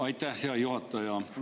Aitäh, hea juhataja!